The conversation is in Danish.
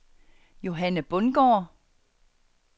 Johanne Bundgaard